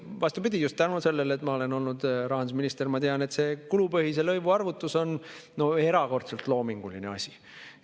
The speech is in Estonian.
Vastupidi, just tänu sellele, et ma olen olnud rahandusminister, ma tean, et see kulupõhise lõivu arvutus on erakordselt loominguline asi.